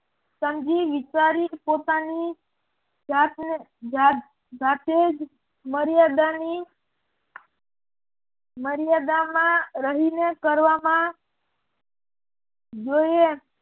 સમજી વિચારી પોતાની જાતે જ મર્યાદાની મર્યાદામાં રહીને કરવામાં જોઈએ